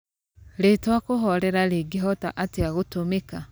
rĩtwa kũhorera rĩngĩhota atĩa gũtũmika